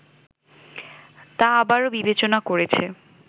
তা আবারও বিবেচনা করেছে